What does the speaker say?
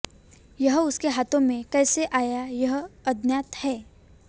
यह उसके हाथों में कैसे आया यह अज्ञात है